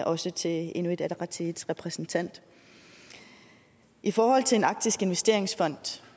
også til inuit ataqatigiits repræsentant i forhold til en arktisk investeringsfond